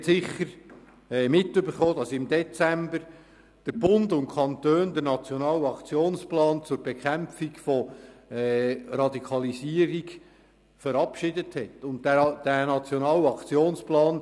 Sie haben sicher mitbekommen, dass im Dezember der Bund und die Kantone den Nationalen Aktionsplan zur Bekämpfung von Radikalisierung und gewalttätigem Extremismus (NAP) verabschiedet haben.